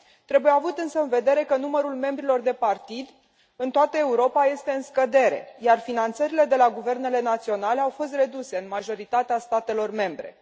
Trebuie avut însă în vedere că numărul membrilor de partid, în toată Europa, este în scădere, iar finanțările de la guvernele naționale au fost reduse în majoritatea statelor membre.